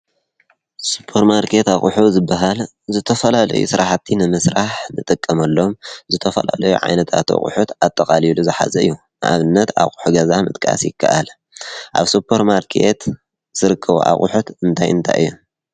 ስፖር ማርኬት ኣቑሑት ዝባሃል ዝተፈላለየ ስራሕቲ ንምስራሕ ዝጥቀመሎም ዝተፈላለዩ ዓይነታት ኣቑሑት ኣጠቃሊሉ ዝሓዘ እዩ፡፡ ንኣብነት ኣቑሑት ገዛ ምጥቃስ ይካኣል፡፡ አብ ሱፖር ማርኬት ዝርከቡ ኣቑሑት እንታይ እንታይ እዮም?